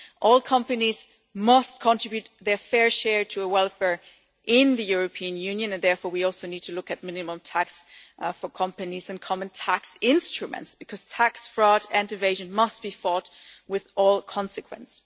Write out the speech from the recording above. say. All companies must contribute their fair share to welfare in the European Union and therefore we also need to look at minimum tax for companies and common tax instruments because tax fraud and evasion must be fought with all consequence.